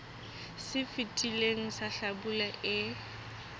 se fetileng sa hlabula e